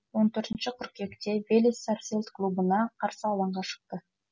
он төртінші қыркүйекте велес сарсилд клубына қарсы алаңға шықты